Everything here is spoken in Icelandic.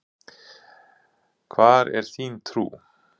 Hvar er þín trú?